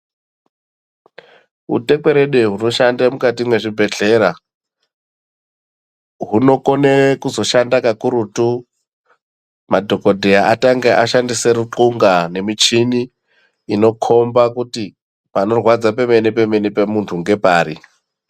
Utekwerede hunoshanda mukati mezvibhedhlera hunokona kuzoshanda ukurutu madhokodheya atanga ashandisa rukunga nemichini unokhomba kuti panorwadza pemene pemene pemuntu ngepari.